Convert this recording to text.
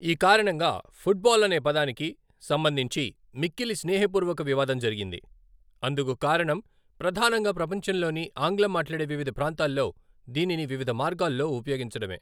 ఈ కారణంగా, ఫుట్బాల్ అనే పదానికి సంబంధించి మిక్కిలి స్నేహపూర్వక వివాదం జరిగింది, అందుకు కారణం ప్రధానంగా ప్రపంచంలోని ఆంగ్లం మాట్లాడే వివిధ ప్రాంతాల్లో దీనిని వివిధ మార్గాల్లో ఉపయోగించడమే.